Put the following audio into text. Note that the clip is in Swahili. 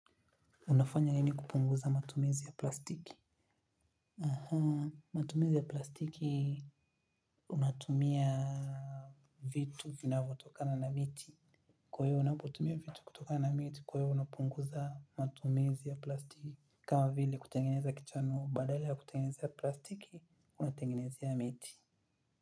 Unafanya nini kupunguza matumizi ya plastiki? Aha, matumizi ya plastiki unatumia vitu vinavotokana na miti. Kwa hiyo unapotumia vitu kutokana na miti, kwa hiyo unapunguza matumizi ya plastiki. Kama vile kutengeneza kichano, badala ya kutengeneza ya plastiki, unatengeneza ya miti.